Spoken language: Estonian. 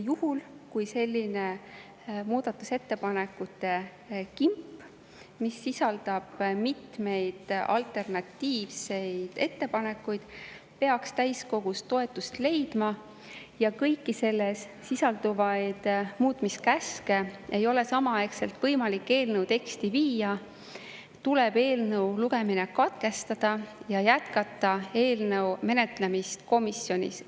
Juhul kui selline muudatusettepanekute kimp, mis sisaldab mitmeid alternatiivseid ettepanekuid, peaks täiskogus toetust leidma ja kõiki selles sisalduvaid muutmiskäske ei ole samaaegselt võimalik eelnõu teksti viia, tuleb eelnõu lugemine katkestada ja jätkata eelnõu menetlemist komisjonis.